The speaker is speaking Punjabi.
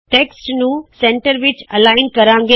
ਟੈਕਸਟ ਨੂੰ ਸੈਂਟਰ ਮੱਧ ਸੈਂਟਰ ਵਿੱਚ ਐਲਾਇਨ ਕਰਿਏ